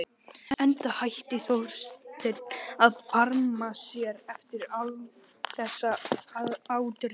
Enda hætti Þorsteinn að barma sér eftir þessa ádrepu.